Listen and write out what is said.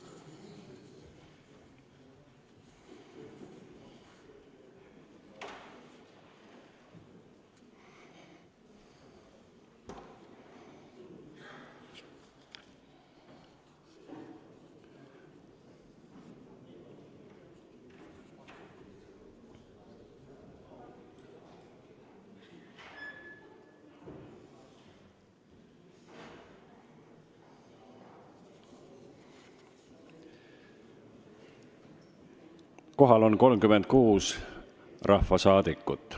Kohaloleku kontroll Kohal on 36 rahvasaadikut.